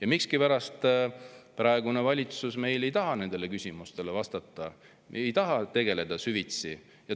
Aga miskipärast praegune valitsus ei taha nendele küsimustele vastata, ei taha sellega süvitsi tegeleda.